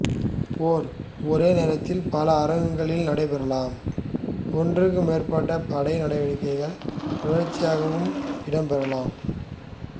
போர் ஒரே நேரத்தில் பல அரங்குகளில் நடைபெறலாம் ஒன்றுக்கு மேற்பட்ட படை நடவடிக்கைகள் தொடர்ச்சியாகவும் இடம்பெறலாம்